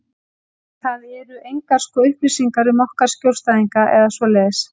En það eru engar sko upplýsingar um okkar skjólstæðinga eða svoleiðis.